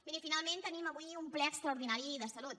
miri finalment tenim avui un ple extraordinari de salut